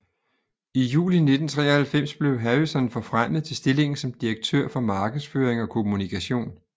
I juli 1993 blev Harrison forfremmet til stillingen som direktør for markedsføring og kommunikation